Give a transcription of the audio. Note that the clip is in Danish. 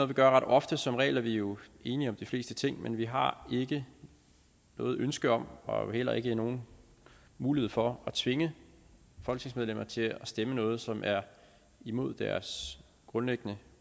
vi gør ret ofte som regel er vi jo enige om de fleste ting men vi har ikke noget ønske om og heller ikke nogen mulighed for at tvinge folketingsmedlemmer til at stemme noget som er imod deres grundlæggende